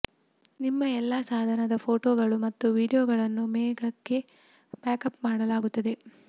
ನಿಮ್ಮ ಎಲ್ಲಾ ಸಾಧನದ ಫೋಟೋಗಳು ಮತ್ತು ವೀಡಿಯೊಗಳನ್ನು ಮೇಘಕ್ಕೆ ಬ್ಯಾಕಪ್ ಮಾಡಲಾಗುತ್ತಿದೆ